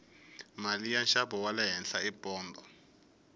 mali ya nxavo wale henhla i pondho